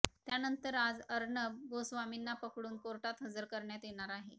त्यानंतर आज अर्णब गोस्वामींना पकडून कोर्टात हजर करण्यात येणार आहे